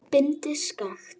Bindið skakkt.